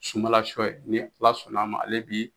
Sunbalasɔ ye ni ala sɔnn'a ma ale bi